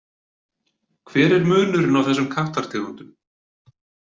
Hver er munurinn á þessum kattartegundum?